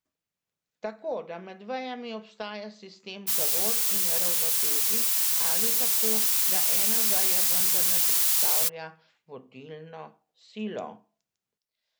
Tako, da med vejami obstaja sistem zavor in ravnotežij, ali tako, da ena veja vendarle predstavlja vodilno silo?